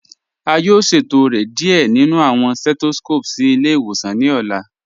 A yóò ṣẹtọrẹ́ díẹ̀ nínu awọn setoskopu sí ilẹ̀-ìwòsàn ní ọ̀la.